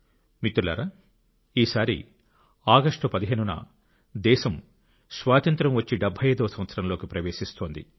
మిత్రులారా ఈసారి ఆగస్టు 15 న దేశం స్వాతంత్య్రం వచ్చి 75 వ సంవత్సరంలోకి ప్రవేశిస్తోంది